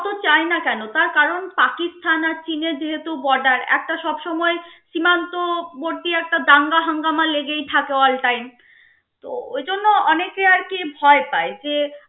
চায় না কেন তার কারণ পাকিস্তান আর চিনের যেহেতু border একটা সব সময় সীমান্তবর্তী একটা দাঙ্গা হাঙ্গামা লেগেই থাকে all time তো ওই জন্য অনেকে আর কি ভয় পায় যে